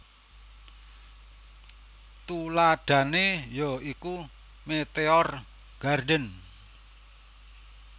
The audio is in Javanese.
Tuladhané ya iku Meteor Garden